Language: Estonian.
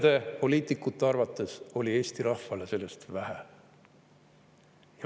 Mõne poliitiku arvates oli Eesti rahvale sellest vähe.